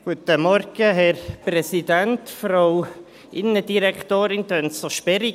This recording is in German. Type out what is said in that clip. Kommissionssprecher der JuKo-Mehrheit. Innendirektorin tönt so sperrig.